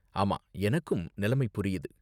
ஆமா, எனக்கும் நிலைமை புரியுது.